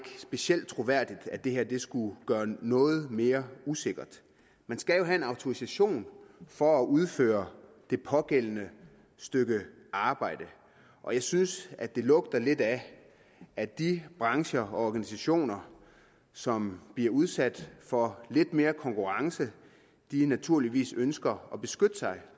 specielt troværdigt at det her skulle gøre noget mere usikkert man skal jo have en autorisation for at udføre det pågældende stykke arbejde og jeg synes at det lugter lidt af at de brancher og organisationer som bliver udsat for lidt mere konkurrence naturligvis ønsker at beskytte sig